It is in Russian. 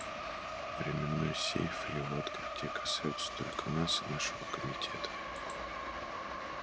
временной сейф и его открытие касаются только нас и нашего комитета